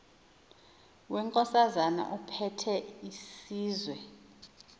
wenkosana ephethe isizwe